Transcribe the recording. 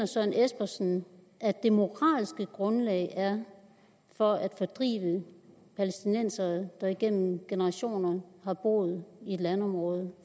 søren espersen det moralske grundlag er for at fordrive palæstinensere der igennem generationer har boet i et landområde